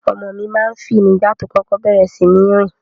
Ọmọ mi ma ń fì nígbà tó kókó bẹ̀rẹ̀ síní rìn.